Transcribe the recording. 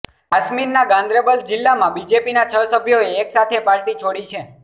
કાશ્મીરના ગાંદરેબલ જીલ્લામાં બીજેપીના છ સભ્યોએ એક સાથે પાર્ટી છોડી છે